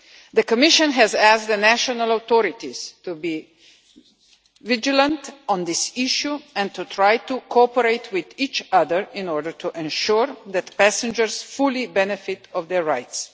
The Commission has asked the national authorities to be vigilant on this issue, and to try to cooperate with each other in order to ensure that passengers can fully exercise their rights.